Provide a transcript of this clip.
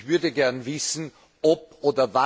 Ich würde gerne wissen, ob bzw.